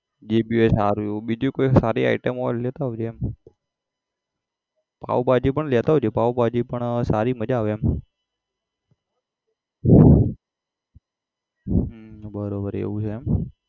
જે ભી હોય સારું એવું બીજું કોઈ સારી item હોય તો લેતો આવજે એમ પાઉભાજી પણ લેતો આવજે પાઉભાજી પણ સારી મજા આવે એમ હમ બરોબર એવું છે એમ